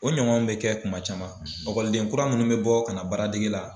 O ɲɔgɔnw bɛ kɛ kuma caman ɔkɔliden kura minnu bɛ bɔ ka na baaradegi la.